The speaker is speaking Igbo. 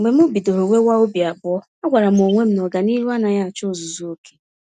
Mgbe m bidoro nwewa obi abụọ, a gwàrà m onwe m na ọganihu anaghị achọ ozuzu oke.